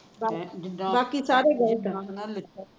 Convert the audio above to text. ਬਾਕੀ ਸਾਰੇ